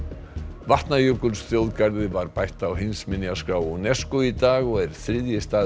Vatnajökulsþjóðgarði var bætt á heimsminjaskrá UNESCO í dag og er þriðji staðurinn